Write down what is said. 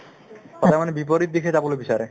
মানে বিপৰীত দিশে যাবলৈ বিচাৰে